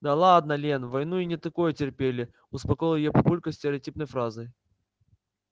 да ладно лен в войну и не такое терпели успокоил её папулька стереотипной фразой